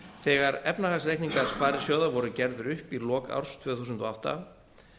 þegar efnahagsreikningar sparisjóða voru gerðir upp í lok árs tvö þúsund og átta